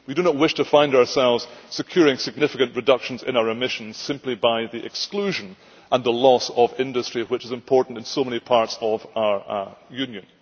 We do not wish to find ourselves securing significant reductions in our emissions simply by the exclusion and the loss of industry, which is important in so many parts of our Union.